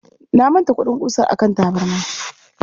Na manta kuɗin ƙusar a kan tabarma.